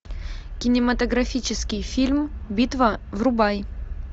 кинематографический фильм битва врубай